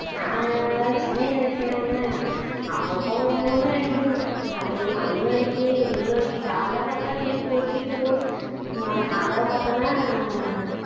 அஹ் நான் சென்னையில இருக்கேன்னாங்க அப்பப்போ ஒண்ணு ஒண்ணு அடிக்குதுங்க. மழையு மழையும் அடிக்கி வெயிலும் அடிக்கி காலையில பாத்தா வெயில் கொளுத்திக்கிட்டு போகுது நா சாயந்தரம் பாத்தோன்னா